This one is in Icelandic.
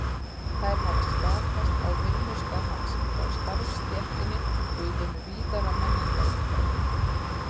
Þær hafa skapast á vinnustað hans, hjá starfsstéttinni og í hinu víðara menningarumhverfi.